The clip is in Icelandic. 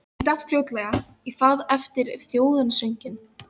Ég datt fljótlega í það eftir þjóðsönginn.